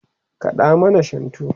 kaɗa mana shantu!